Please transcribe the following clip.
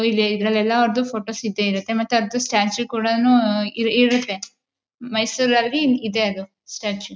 ಇದರಲ್ಲೆಲ್ಲಾ ಅವರದು ಫೋಟೋಸ್ ಇದ್ದೇ ಇರುತ್ತೆ ಮತ್ತೆ ಅದು ಸ್ಟ್ಯಾಚು ಕೂಡಾನು ಇರುತ್ತೆ ಮೈಸೂರಲ್ಲಿ ಇದೆ ಅದು ಸ್ಟ್ಯಾಚು